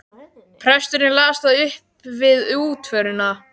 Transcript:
Presturinn las það upp við útförina.